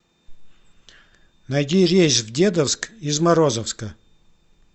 найди рейс в дедовск из морозовска